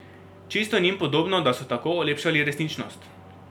Čisto njim podobno, da so tako olepšali resničnost.